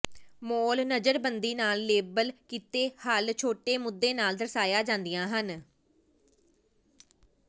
mall ਨਜ਼ਰਬੰਦੀ ਨਾਲ label ਕੀਤੇ ਹੱਲ਼ ਛੋਟੇ ਮੁੱਦੇ ਨਾਲ ਦਰਸਾਈਆਂ ਜਾਂਦੀਆਂ ਹਨ